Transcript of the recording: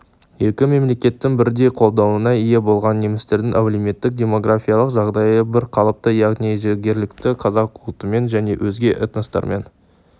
екі мемлекеттің бірдей қолдауына ие болған немістердің әлеуметтік-демографиялық жағдайы бірқалыпты яғни жергілікті қазақ ұлтымен және өзге этностармен